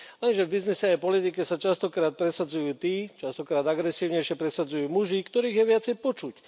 Lenže v biznise aj v politike sa častokrát presadzujú tí, častokrát agresívnejšie presadzujú muži, ktorých je viacej počuť.